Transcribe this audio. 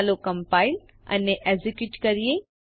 ચાલો કમ્પાઈલ અને એકઝીક્યુટ કરીએ